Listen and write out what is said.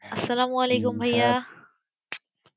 আসালাম ওয়ালিকুম ভাইয়া